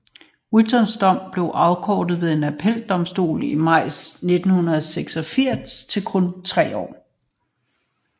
Whittons dom blev afkortet ved en appeldomstol i maj 1986 til kun 3 år